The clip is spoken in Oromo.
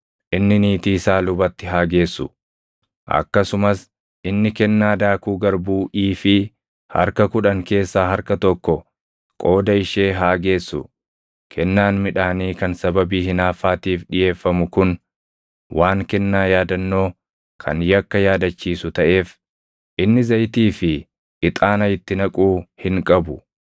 inni niitii isaa lubatti haa geessu. Akkasumas inni kennaa daakuu garbuu iifii + 5:15 Iifiin tokko kiiloo giraamii 1.6. harka kudhan keessaa harka tokko qooda ishee haa geessu. Kennaan midhaanii kan sababii hinaaffaatiif dhiʼeeffamu kun waan kennaa yaadannoo kan yakka yaadachiisu taʼeef, inni zayitii fi ixaana itti naquu hin qabu.